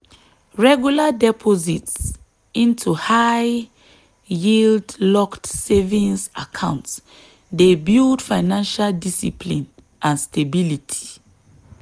regular deposits into high-yield locked savings accounts dey build financial discipline and stability.